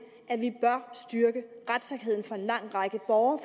at vi bør styrke retssikkerheden for en lang række borgere